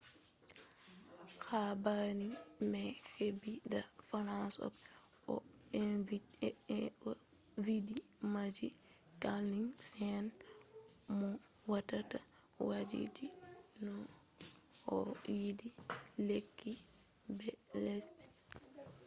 habaru mai hebi da french opera mo vindi majun camille saint-saens mo watta wakiji on ‘’ o yide lekkije be lesde japan’’